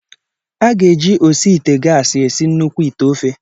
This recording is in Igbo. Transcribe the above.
A ga-eji osi ite gasi esi nnukwu ite ofe.